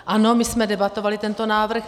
Ano, my jsme debatovali tento návrh.